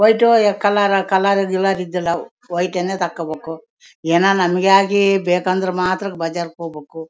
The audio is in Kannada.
ವೈಟು ಕಲರ ಕಲರ್ ಇದ್ದಿಲ್ಲಾ ಅವು ವೈಟನ್ನೆ ತಕೋಬೇಕು ಅವು ಏನೋ ನಮಿಗಾಗಿ ಬೇಕು ಅಂದ್ರೆ ಮಾತ್ರ ಬಜಾರ್ ಗೆ ಹೋಗ್ಬೇಕು.